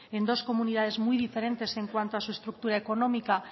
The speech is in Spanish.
en dos comunidades muy diferentes en cuanto a su estructura económica